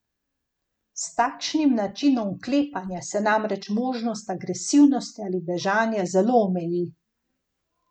S takšnim načinom vklepanja se namreč možnost agresivnosti ali bežanja zelo omeji.